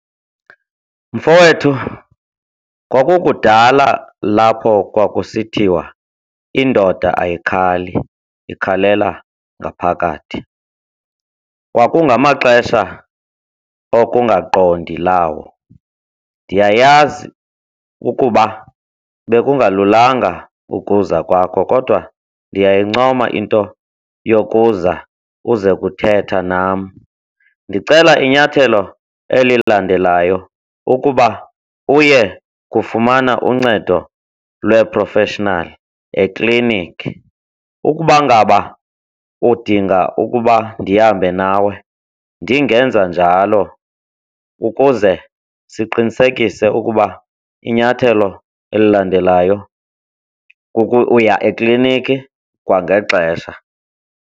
Mfowethu, kwakukudala lapho kwakusithiwa indoda ayikhali, ikhalela ngaphakathi, kwakungamaxesha okungaqondi lawo. Ndiyayazi ukuba bekungalulanga ukuza kwakho, kodwa ndiyayincoma into yokuza uze kuthetha nam. Ndicela inyathelo elilandelayo ukuba uye kufumana uncedo lweeprofeshinali ekliniki. Ukuba ngaba udinga ukuba ndihambe nawe, ndingenza njalo ukuze siqinisekise ukuba inyathelo elilandelayo kukuya ekliniki kwangexesha.